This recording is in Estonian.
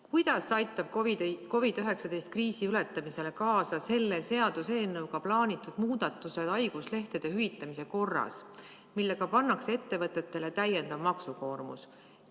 Kuidas aitab COVID-19 kriisi ületamisele kaasa selle seaduseelnõuga plaanitud muudatus haiguslehtede hüvitamise korras, millega pannakse ettevõtetele täiendav maksukoormus?